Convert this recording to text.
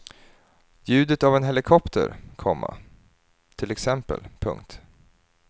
Ljudet av en helikopter, komma till exempel. punkt